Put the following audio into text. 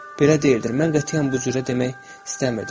Belə deyildir, mən qətiyyən bu cürə demək istəmirdim.